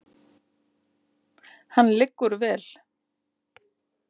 Hann liggur vel.